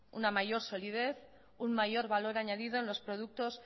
una mayor solidez un mayor valor añadido en los productos